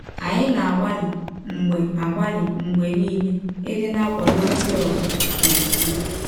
Anyị na - agbalị mgbe agbalị mgbe nile ịdị na - akwadọ ndị ọzọ n’ọkwụkwe.